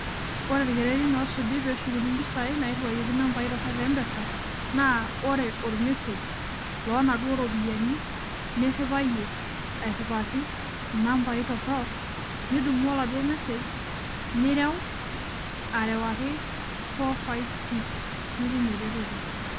Ore irkererin osuji peshukuni mpisai nairiwayioki nambai torok tembempesa naa ore ormessage lonaduo ropiyiani niriwayie , airiwaki inambai torok , nidumu oladuo message nireu , arewaki four ,five ,six nitum ereteto .